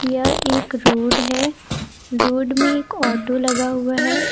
यह एक रोड है रोड में एक ऑटो लगा हुआ है।